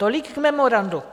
Tolik k memorandu.